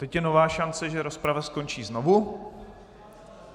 Teď je nová šance, že rozprava skončí znovu.